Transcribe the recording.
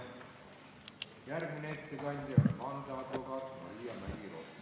Järgmine ettekandja on vandeadvokaat Maria Mägi-Rohtmets.